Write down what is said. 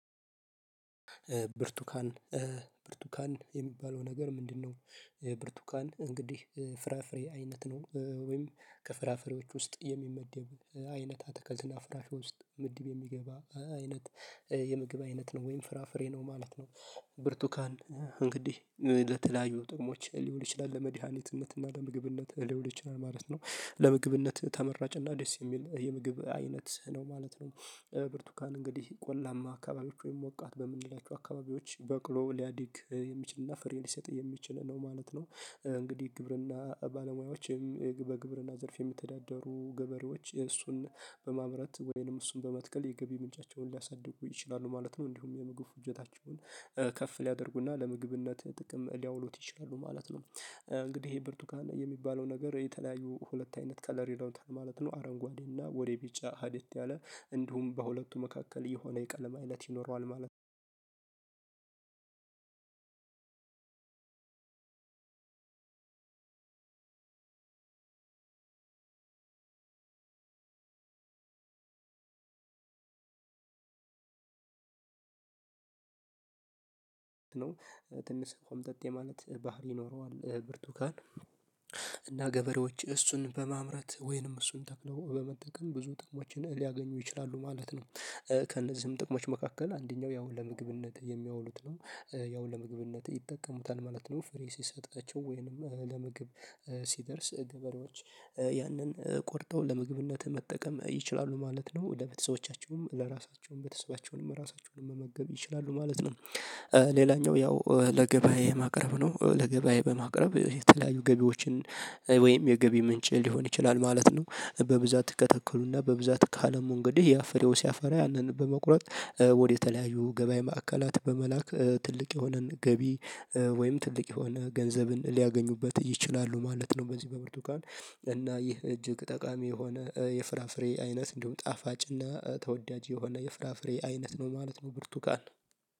ብርቱካን ብርቱካን የሚባለው ነገር ምንድነው? ብርቱካን እንግዲህ ፍራፍሬ አይነት ነው ወይም ከፍራፍሬዎች ውስጥ የሚመደብ አይነት ከዝና ፍራፍሬ ውስጥ ምድብ የሚገባ አይነት የምግብ አይነት ነው ወይም ፍራፍሬ ነው ማለት ነው። ብርቱካን እንግዲህ ለተለያዩ ጥቅሞች ሊሆን ይችላል ለመድሃኒትነትና ለምግብነት ሊውል ይችላል ማለት ነው ለምግብነት ተመራጭና እና ደስ የሚል የምግብ አይነት ነው ማለት ነው። ብርቱካን እንግዲህ ቆላማ አካባቢዎች ወይም ሞቃት በምንላቸው አካባቢዎች በቅሎ ሊያዲግ የሚችልና ፍሬ ሊሰጥ የሚችል ነው ማለት ነው። እንግዲህ ግብርና ባለሙያዎችም በግብርና ዘርፍ የሚተዳደሩ ግብር እሱን በማምረት ወይንም እሱን በመትከል የገቢ ምንጫቸውን ሊያሳድጉ ይችላሉ ማለት ነው። እንዲሁም የምግብ ፍጆታቸውን ከፍ ሊያደርጉና ለምግብነት ጥቅም ሊያውሉት ይችላሉ ማለት ነው። እንግዲህ ይሄ ብርቱካን የሚባለው ነገር የተለያዩ ሁለት አይነት ከለሌላው ማለት ነው አረንጓዴ እና ቢጫ ጽዲት ያለ እንዲሁም በሁለቱ መካከል የሆነ የቀለማ እለት ይኖረዋል ማለት ነው አንድ ነው ትንሽ ቆምጠጥ ማለት ባህሪ ኖረዋል ብርቱካን። እና ገበሬዎች እሱን በማምረት ወይንም እሱን ተክለው በመጠቀም ብዙ ጥቅሞችን ሊያገኙ ይችላሉ ማለት ነው። ከእነዚህም ጥቅሞች መካከል አንደኛው ያው ለምግብነት የሚያውሉት ነው ያው ለምግብነት ይጠቀሙታል ማለት ነው ፍሬ ሲሰጣቸው ወይንም ለምግብ ሲደርስ ገበሬዎች ያንን ቆርጠው ለምግብነት መጠቀም ይችላሉ ማለት ነው ወደ ቤተሰቦቻቸውም ለራሳቸውም ቤተሰባቸውንም ለራሳቸውንም መመገብ ይችላሉ ማለት ነው። ሌላኛው ያው ለገበያ የማቅረብ ነው ለገበያ በማቅረብ የተለያዩ ገቢዎችን ወይም የገቢ ምንጭ ሊሆን ይችላል ማለት ነው። በብዛት ከተከሉና በብዛት ካለ መንገድህ ያፈረው ሲያፈራ ያንን በመቁረጥ ወደ የተለያዩ ገበያ ማዕከላት በመላክ ትልቅ የሆነን ገቢ ወይም ትልቅ የሆነ ገንዘብን ሊያገኙበት ይችላሉ ማለት ነው። በዚህ በብርቱ ካን እና ይህ እጅግ ጠቃሚ የሆነ የፍራፍሬ አይነት እንዲሁም ጣፋጭ እና ተወዳጅ የሆነ የፍራፍሬ አይነት ነው ማለት ነው። ብርቱካን